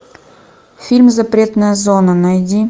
фильм запретная зона найди